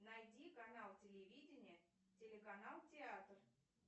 найди канал телевидения телеканал театр